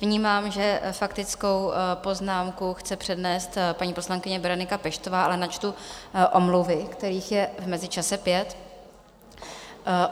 Vnímám, že faktickou poznámku chce přednést paní poslankyně Berenika Peštová, ale načtu omluvy, kterých je v mezičase pět.